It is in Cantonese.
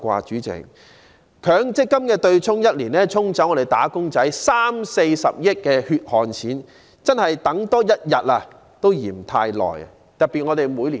主席，強積金對沖的安排1年已可"沖走"我們"打工仔 "30 億元至40億元的血汗錢，真的是多等1天也嫌太久。